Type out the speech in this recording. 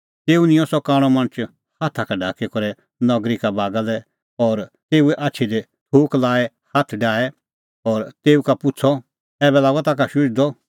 तेऊ निंयं सह कांणअ मणछ हाथा का ढाकी करै नगरी का बागा लै और तेऊए आछी दी थूक लाई हाथ डाहै और तेऊ का पुछ़अ ऐबै लागअ ताखा शुझदअ ऐ